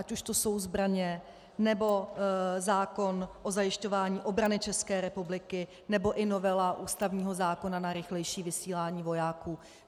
Ať už jsou to zbraně, nebo zákon o zajišťování obrany České republiky, nebo i novela ústavního zákona na rychlejší vysílání vojáků.